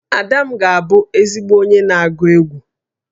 Ada m ga-abụ ezigbo onye na-agụ egwú